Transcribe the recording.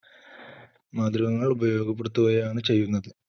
മാർഗ്ഗങ്ങൾ ഉപയോഗപ്പെടുത്തുകയാണ് ചെയ്യുന്നത്.